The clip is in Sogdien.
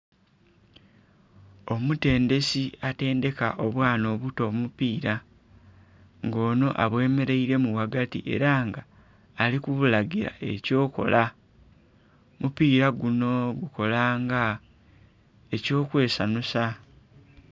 Omutendesi atendheka obwana obuto omupira nga onho abwemereiremu ghagati era nga ali ku bulagira ekyokola, omupira gunho gukola nga ekyo kwesanhusa.